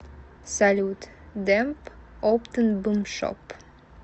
салют демб оптнбмшоп